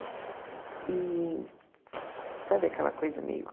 E... Sabe aquela coisa meio...